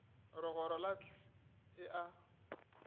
legoro la hlt e a